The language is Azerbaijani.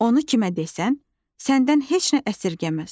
Onu kimə desən, səndən heç nə əsirgəməz.